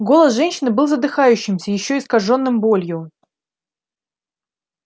голос женщины был задыхающимся ещё искажённым болью